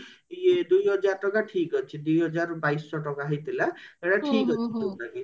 ଇଏ ଦୁଇ ହଜାର ଟଙ୍କା ଠିକ ଅଛି ଦି ହଜାର ବାଇଶ ଟଙ୍କା ହେଇଥିଲା ଏତ ଠିକ ଅଛି ତଥାପି